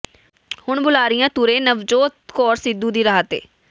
ਹੁਣ ਬੁਲਾਰੀਆ ਤੁਰੇ ਨਵਜੋਤ ਕੌਰ ਸਿਧੂ ਦੀ ਰਾਹ ਤੇ